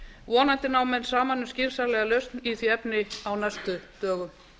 vonandi ná menn saman um skynsamlega lausn í því efni á næstu dögum